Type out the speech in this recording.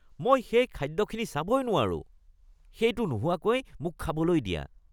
মই সেই খাদ্যখিনি চাবই নোৱাৰোঁ, সেইটো নোহোৱাকৈ মোক খাবলৈ দিয়া।